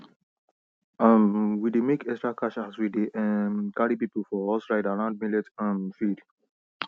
um we dey make extra cash as we dey um carry people for horse ride around millet um field